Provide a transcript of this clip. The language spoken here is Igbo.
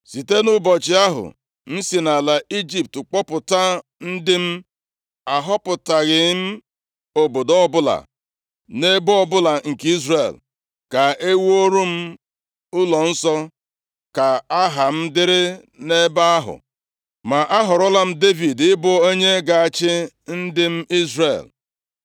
‘Site nʼụbọchị ahụ m si nʼala Ijipt kpọpụta ndị m, ahọpụtaghị m obodo ọbụla nʼebo ọbụla nke Izrel, ka e wuru m ụlọnsọ ka Aha m dịrị nʼebe ahụ. Ma a họrọla m Devid ị bụ onye ga-achị ndị m Izrel.’